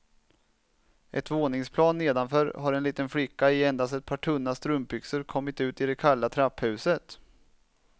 Ett våningsplan nedanför har en liten flicka i endast ett par tunna strumpbyxor kommit ut i det kalla trapphuset.